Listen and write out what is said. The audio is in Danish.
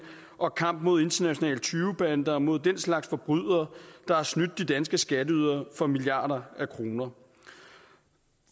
og kampen mod internationale tyvebander og mod den slags forbrydere der har snydt de danske skatteydere for milliarder af kroner